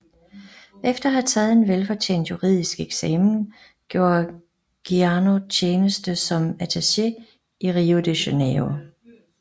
Efter at have taget en velfortjent juridisk eksamen gjorde Ciano tjeneste som attaché i Rio de Janeiro